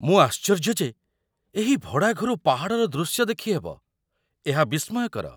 ମୁଁ ଆଶ୍ଚର୍ଯ୍ୟ ଯେ ଏହି ଭଡ଼ା ଘରୁ ପାହାଡ଼ର ଦୃଶ୍ୟ ଦେଖିହେବ । ଏହା ବିସ୍ମୟକର!